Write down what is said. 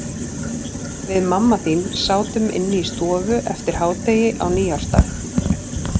Við mamma þín sátum inni í stofu eftir hádegi á nýársdag.